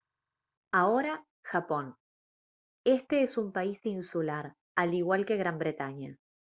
ahora japón este es un país insular al igual que gran bretaña